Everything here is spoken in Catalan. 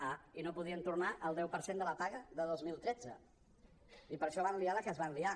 ah i no podien tornar el deu per cent de la paga de dos mil tretze i per això van liar la que es va liar